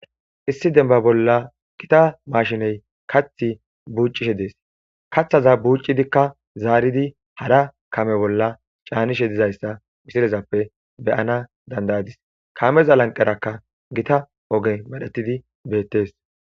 issi denba bolla kita mashiney kath buccishe dees kaththaza buuccidikka zaaridi hara kame bolla caanishe dizayssa misilezappe beyana dandayadis kameza lanqerakka gita oge madhetidi beettes